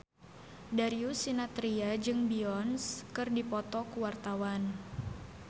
Darius Sinathrya jeung Beyonce keur dipoto ku wartawan